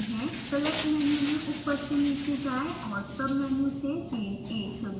select menu में ऊपर से नीचे जाएँ और सबमेनू से chain a चुनें